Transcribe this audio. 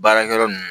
Baarakɛyɔrɔ nunnu